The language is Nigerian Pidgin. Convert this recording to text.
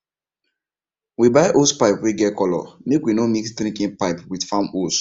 we buy hosepipe wey get colour make we no mix drinking pipe with farm hose